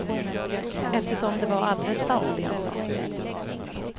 Eftersom det var alldeles sant det han sa.